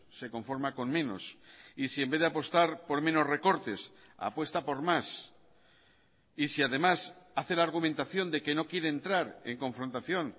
se conforma con menos y si en vez de apostar por menos recortes apuesta por más y si además hace la argumentación de que no quiere entrar en confrontación